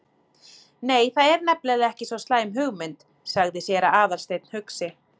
Nei, það er nefnilega ekki svo slæm hugmynd- sagði séra Aðalsteinn hugsi.